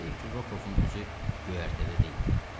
Heyf ki, Rokofun özü göyərtədə deyildi.